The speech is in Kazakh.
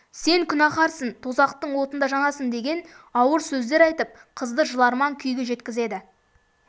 сен күнәһарсың тозақтың отында жанасың деген ауыр сөздер айтып қызды жыларман күйге жеткізеді